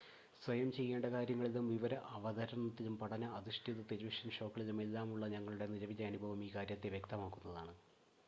സ്വയം ചെയ്യേണ്ട കാര്യങ്ങളിലും വിവര അവതരണത്തിലും പഠന അധിഷ്ഠിത ടെലിവിഷൻ ഷോകളിലും എല്ലാമുള്ള ഞങ്ങളുടെ നിലവിലെ അനുഭവം ഈ കാര്യത്തെ വ്യക്തമാക്കുന്നതാണ്